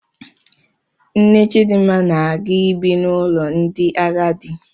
Nne Chidmma na-aga ibi n'ụlọ ndị agadi.